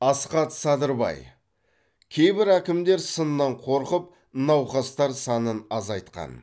асхат садырбай кейбір әкімдер сыннан қорқып науқастар санын азайтқан